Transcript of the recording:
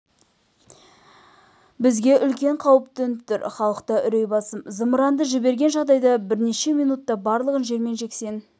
бізге үлкен қауіп төніп тұр халықта үрей басым зымыранды жіберген жағдайда бірнеше минутта барлығын жермен жексен